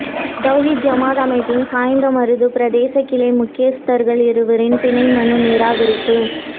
தௌஹீத் ஜமாஅத் அமைப்பின் சாய்ந்தமருது பிரதேச கிளை முக்கியஸ்தர்கள் இருவரின் பிணை மனு நிராகரிப்பு